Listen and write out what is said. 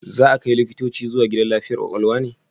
Za a kai likitoci zuwa gidan lafiyar kwakwalwa ne?